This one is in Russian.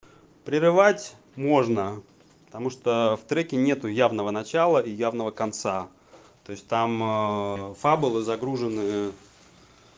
прерывать можно потому что в треке нету явного начало и явного конца то есть там фаболы загружены